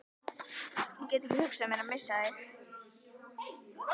Ég get ekki hugsað mér að missa þig.